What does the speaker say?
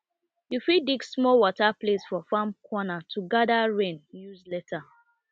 you fit dig small water place for farm corner to gather rain use later